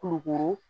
Kulukoro